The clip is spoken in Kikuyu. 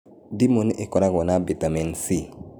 Ndimũ nĩ ĩkoragwo na bitameni C